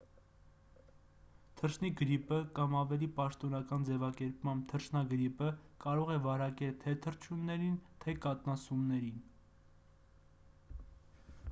թռչնի գրիպը կամ ավելի պաշտոնական ձևակերպմամբ թռչնագրիպը կարող է վարակել թե թռչուններին թե կաթնասուններին